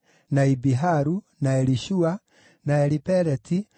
na Ibiharu, na Elishua, na Elipeleti,